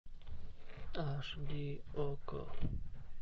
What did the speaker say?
аш ди окко